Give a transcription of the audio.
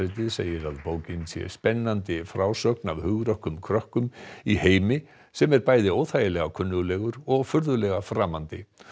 segir að bókin sé spennandi frásögn af hugrökkum krökkum í heimi sem er bæði óþægilega kunnuglegur og furðulega framandi